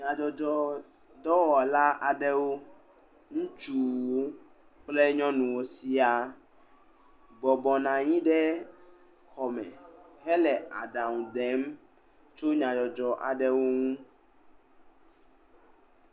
Nyadzɔdzɔ dɔwɔla aɖewo, ŋutsuwo kple nyɔnuwo sɛ̃a bɔbɔ nɔ anyi ɖe xɔ me hele aɖaŋu dem tso nya dzɔdzɔ aɖeŋ ŋu.